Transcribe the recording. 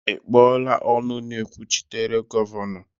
Ị kpọọla ọnụ na-ekwuchitere Gọvanọ?